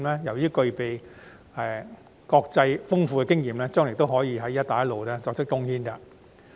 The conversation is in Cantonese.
由於具備豐富的國際經驗，將來亦可對"一帶一路"建設作出貢獻。